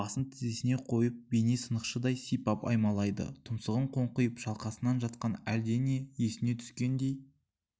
басын тізесіне қойып бейне сынықшыдай сипап аймалайды тұмсығы қоңқиып шалқасынан жатқан әлдене есіне түскендей